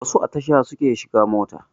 Wasu a tasha suke shiga mota